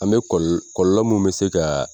An bɛ kɔlɔlɔ mun bɛ se ka